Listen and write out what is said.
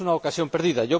Es una ocasión perdida.